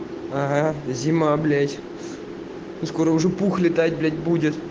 ага зима блять скоро уже пух летать блять будет